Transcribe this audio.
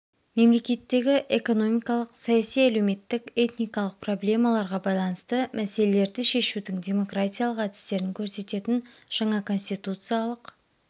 мемлекеттегі экономикалық саяси әлеуметтік этникалық проблемаларға байланысты мәселелерді шешудің демократиялық әдістерін көрсететін жаңа конституциялық